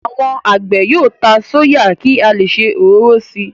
Àwọn àgbẹ̀ yóò ta sóyà ki a leè se òróró síi.